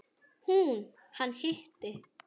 Hún: Hann hitti.